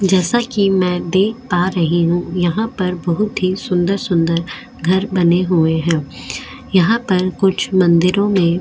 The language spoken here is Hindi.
जैसा की में दिख पा रही हु यहाँ पर बहुत ही सुन्दर सुन्दर घर बने हुए है यहाँ पर कुछ मंदिरो में --